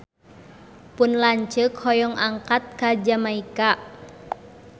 Pun lanceuk hoyong angkat ka Jamaika